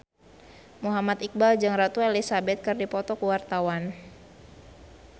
Muhammad Iqbal jeung Ratu Elizabeth keur dipoto ku wartawan